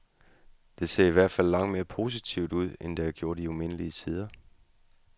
Det ser i hvert fald langt mere positivt ud, end det har gjort i umindelige tider.